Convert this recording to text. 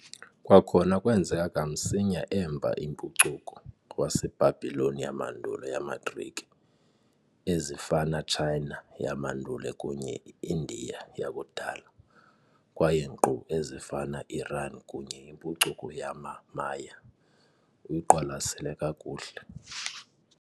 Kwakhona kwenzeka kamsinya emva impucuko, waseBhabhiloni yamandulo yamaGrike, ezifana China yamandulo kunye Indiya yakudala, kwaye nkqu ezifana Iran kunye impucuko yamaMaya, uyiqwalasela kakuhle